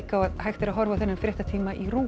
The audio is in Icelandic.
á að hægt er að horfa á þennan fréttatíma í RÚV